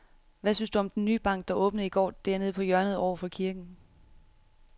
Hvad synes du om den nye bank, der åbnede i går dernede på hjørnet over for kirken?